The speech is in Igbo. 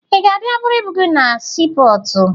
Ị ga-abịa buru ibu gị na siipọọtụ?